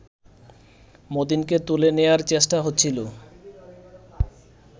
মতিনকে তুলে নেয়ার চেষ্টা হচ্ছিল